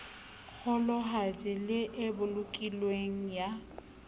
kgolohadi le e bolokilweng ya